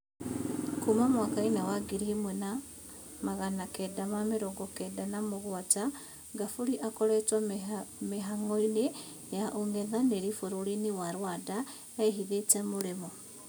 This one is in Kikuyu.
Kuna mwaka wa ngiri ímwe na magana kenda ma mĩrongo kenda na mũgwanja, Ngaburi akoretwo mĩhang'oinĩ ya ung'ethanĩri bũrũrinĩ wa Rwanda ehithĩte Mũrĩmo.